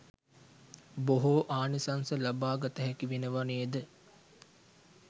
බොහෝ ආනිසංස ලබා ගත හැකි වෙනවා නේද?